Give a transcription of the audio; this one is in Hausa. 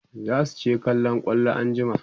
zasu je kallon kwallo anjima